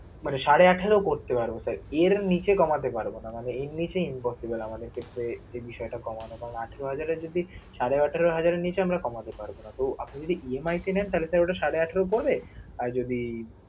মানে সাড়ে আঠারো করতে পারব sir এর নিচে কমাতে পারব না মানে এর নিচে impossible আমাদের ক্ষেত্রে এই বিষয়টা কমানো কারণ আঠারো হাজারে যদি সাড়ে আঠারো হাজারের নিচে আমরা কমাতে পারব না. তো আপনি যদি EMI তে নেন তাহলে sir ওটা সাড়ে আঠারো পড়বে, আর যদি